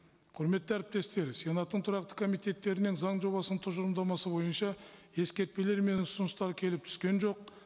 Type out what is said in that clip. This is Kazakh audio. құрметті әріптестер сенаттың тұрақты комитеттерінен заң жобасының тұжырымдамасы бойынша ескертпелер мен ұсыныстар келіп түскен жоқ